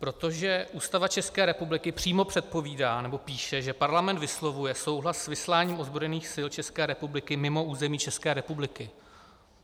Protože Ústava České republiky přímo předpovídá nebo píše, že Parlament vyslovuje souhlas s vysláním ozbrojených sil České republiky mimo území České republiky.